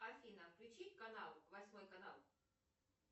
афина включить канал восьмой канал